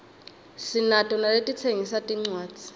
sinato naletitsengisa tincwadzi